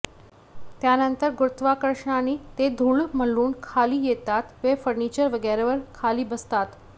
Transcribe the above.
त्यानंतर गुरुत्वाकर्षणांनी ते धूळ म्हणून खाली येतात व फ़र्निचर वगैरेवर खाली बसतात